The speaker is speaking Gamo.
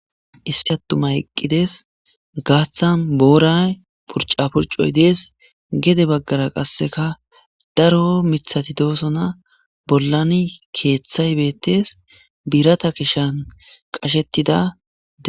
issi attuma eqqides gaaththan booray purca purcoy dees gede baggara qasseka daro mithati doosona bollani keeththay bettes biirata kishan qashettidae